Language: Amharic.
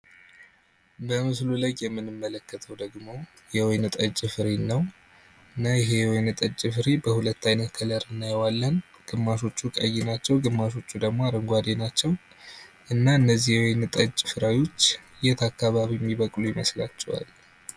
በምስሉ ላይ የምንመለከተው ደግሞ የወይን ጠጅ ፍሬን ነው፤ እና ይሄ የወይን ጠጅ ፍሬ በሁለት አይነት ከለር እናየዋለን ግማሾቹ ቀይ ናቸው ግማሾቹ ደግሞ አረንጕዴ ናቸው እና እነዚህ የወይን ጠጅ ፍሬዎች የት አካባቢ የሚበቅሉ ይመስላችኋል?